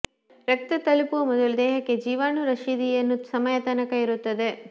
ರಕ್ತದ ತಲುಪುವ ಮೊದಲು ದೇಹಕ್ಕೆ ಜೀವಾಣು ರಶೀದಿಯನ್ನು ಸಮಯ ತನಕ ಇರುತ್ತದೆ